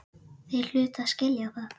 Þeir hlutu að skilja það.